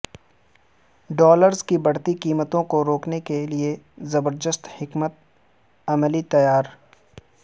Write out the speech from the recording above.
dollars کی بڑھتی قیمتوں کو روکنے کے لیے زبردست حکمت عملی تیار